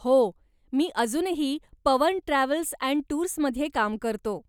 हो, मी अजूनही पवन ट्रॅव्हल अँड टूर्समध्ये काम करतो.